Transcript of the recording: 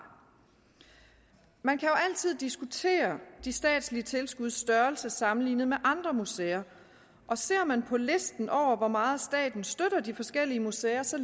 man kan jo altid diskutere de statslige tilskuds størrelse sammenlignet med andre museer og ser man på listen over hvor meget staten støtter de forskellige museer ser